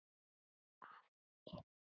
Afi Hilmar.